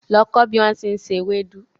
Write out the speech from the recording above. Lọ kọ́ bí wón ti ń se ewédú!